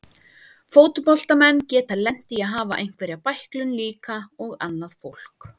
Fótboltamenn geta lent í að hafa einhverja bæklun líka og annað fólk.